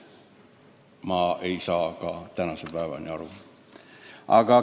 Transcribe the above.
Ütlen teile ausalt, ma pole ka tänase päevani aru saanud.